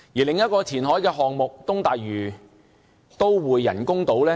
另一個填海項目是東大嶼都會人工島。